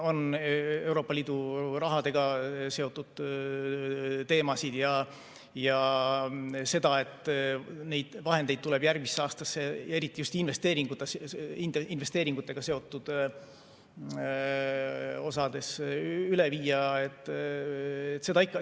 On Euroopa Liidu rahaga seotud teemasid ja seda, et neid vahendeid tuleb järgmisse aastasse eriti just investeeringutega seotud osades üle viia.